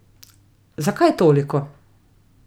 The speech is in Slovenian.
Zakaj toliko?